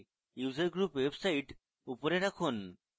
user group website উপরে রাখুন